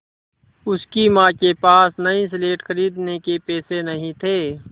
उसकी माँ के पास नई स्लेट खरीदने के पैसे नहीं थे